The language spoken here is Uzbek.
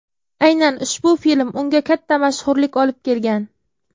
Aynan ushbu film unga katta mashhurlik olib kelgan.